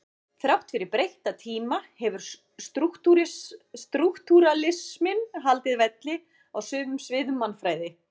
Þrátt fyrir breytta tíma hefur strúktúralisminn haldið velli á sumum sviðum mannfræði.